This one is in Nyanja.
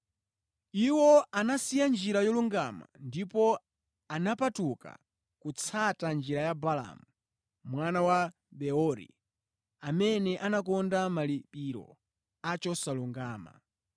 Iwo anasiya njira yolungama ndipo anapatuka kutsata njira ya Baalamu mwana wa Beori, amene anakonda malipiro a chosalungama.